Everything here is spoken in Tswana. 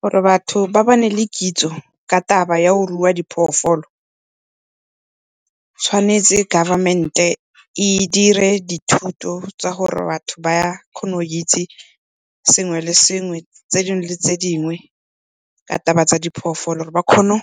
Gore batho ba bane le kitso ka taba ya go rua diphoofolo, tshwanetse government-e e dire dithuto tsa gore batho ba kgone go itse sengwe le sengwe, tse dingwe le tse dingwe, ka taba tsa diphoofolo gore ba kgone